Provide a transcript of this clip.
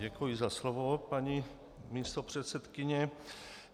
Děkuji za slovo, paní místopředsedkyně.